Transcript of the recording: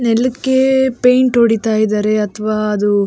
ನೆಲಕ್ಕೆ ಪೈಂಟ್ ಹೊಡಿತಾ ಇದ್ದಾರೆ ಅಥವಾ ಅದು --